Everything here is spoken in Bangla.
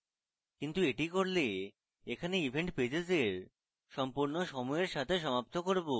কিন্তু এটি করলে এখানে event pages এর সম্পূর্ণ সমূহের সাথে সমাপ্ত করব